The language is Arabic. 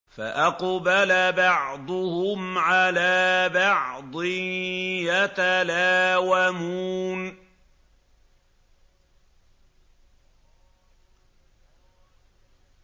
فَأَقْبَلَ بَعْضُهُمْ عَلَىٰ بَعْضٍ يَتَلَاوَمُونَ